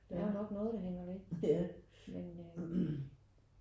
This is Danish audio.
Der er jo nok noget der hænger væk men øh